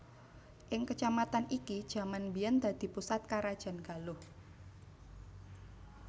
Ing kecamatan iki jaman mbiyen dadi pusat karajan Galuh